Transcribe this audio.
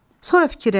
Sonra fikirləşdi.